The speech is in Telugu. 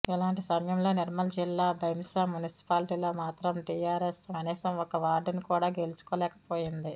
ఇలాంటి సమయంలో నిర్మల్ జిల్లా భైంసా మున్సిపాలిటీలో మాత్రం టీఆర్ఎస్ కనీసం ఒక్క వార్డును కూడా గెల్చుకోలేక పోయింది